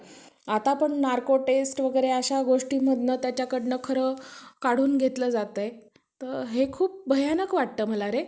Private असेल तर मग जास्त राहील थोडं.